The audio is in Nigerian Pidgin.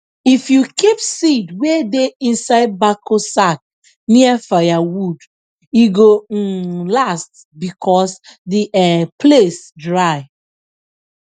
if you keep seed wey dey inside backo sack near firewood e go um last because the um place dry